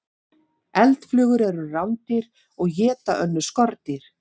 Eldflugur eru rándýr og éta önnur skordýr.